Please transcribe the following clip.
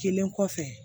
Kelen kɔfɛ